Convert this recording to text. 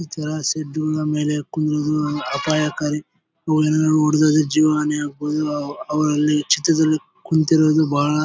ತರ ಶೆಡ್ ಗಾಲ ಮೇಲೆ ಕೂರೋದು ಅಪಾಯಕಾರಿ ಜೀವನನೇ ಆಗಬೋದು ಅವರಲ್ಲಿ ಚಿತ್ರದುರ್ಗ ಕುಂತಿರೋದು ಬಹಳ--